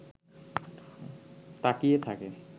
তাকিয়ে থাকে